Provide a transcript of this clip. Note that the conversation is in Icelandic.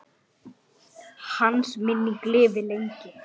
Lengi lifi minning hans.